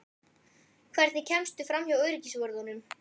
Hvernig kemstu framhjá öryggisvörðunum?